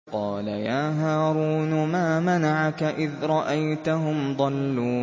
قَالَ يَا هَارُونُ مَا مَنَعَكَ إِذْ رَأَيْتَهُمْ ضَلُّوا